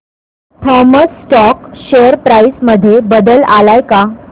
Thomas Scott share price मध्ये बदल आलाय का